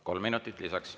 Kolm minutit lisaks.